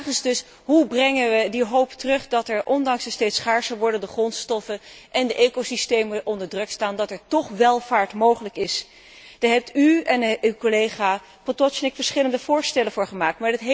De vraag is dus hoe brengen we die hoop terug, de hoop dat er, ondanks de steeds schaarser wordende grondstoffen en de ecosystemen die onder druk staan, toch welvaart mogelijk is? Daar hebt u en uw collega Potočnik verschillende voorstellen voor gedaan.